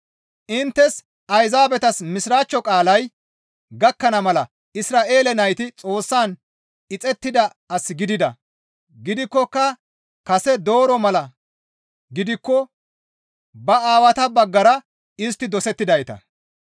Inttes Ayzaabetas Mishiraachcho qaalay gakkana mala Isra7eele nayti Xoossan ixettida as gidida; gidikkoka kase dooroza mala gidikko ba aawata baggara istti dosettidayta.